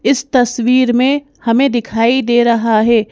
इस तस्वीर में हमें दिखाई दे रहा है।